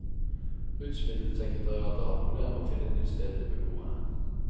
Rusmiddelsekretariatet har hatt problemer med å finne et nytt sted til beboerne.